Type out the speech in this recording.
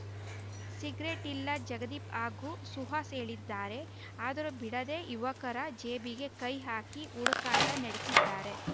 cigarette ಇಲ್ಲ ಜಗದೀಪ್‌ ಹಾಗೂ ಸುಹಾಸ್‌ ಹೇಳಿದ್ದಾರೆ ಆದರೂ ಬಿಡದೆ ಯುವಕರ ಜೇಬಿಗೆ ಕೈ ಹಾಕಿ ಹುಡುಕಾಟ ನಡೆಸಿದ್ದಾರೆ